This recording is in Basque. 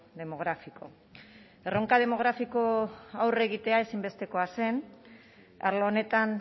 demográfico erronka demografiko aurre egitea ezinbestekoa zen arlo honetan